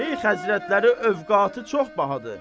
Şeyx həzrətləri öfqatı çox bahadır.